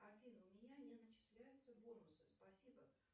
афина у меня не начисляются бонусы спасибо